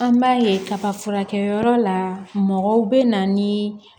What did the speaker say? An b'a ye kaba furakɛli yɔrɔ la mɔgɔw bɛ na ni